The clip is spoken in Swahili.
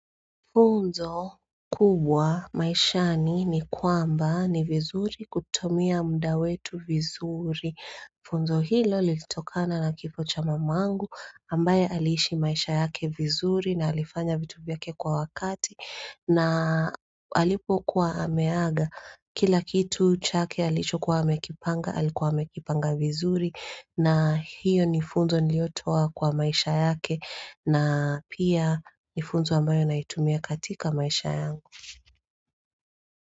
Funzo kubwa maishani ni kwamba ni vizuri kutumia muda wetu vizuri Funzo hilo lilitokana na kifo cha mamangu ambaye alishi maisha yake vizuri na alifanya vitu vyake kwa wakati na alipo kuwa ameaga kila kitu chake alicho kuwa amekipanga alikuwa amekipanga vizuri na hiyo ni funzo niliotoa kwa maisha yake na pia ni funzo ambayo naitumia katika maisha yangu.